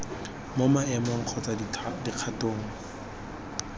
mo maemong kgotsa mo dikgatong